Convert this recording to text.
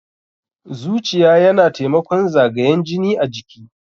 Zuciya yana taimakon zagayan jini a jiki.